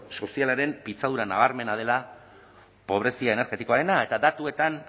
sozialaren pitzadura nabarmena dela pobrezia energetikoarena eta datuetan